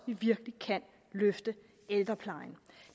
vi virkelig kan løfte ældreplejen